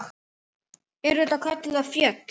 Eru þetta kölluð afföll.